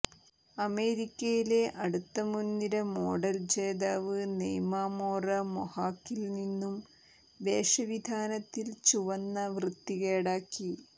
അമേരിക്കയിലെ അടുത്ത മുൻനിര മോഡൽ ജേതാവ് നെയ്മാ മോറ മൊഹാക്കിൽ നിന്നും വേഷവിധാനത്തിൽ ചുവന്ന വൃത്തികേടാക്കി